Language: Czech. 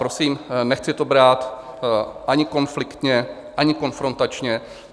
Prosím, nechci to brát ani konfliktně ani konfrontačně.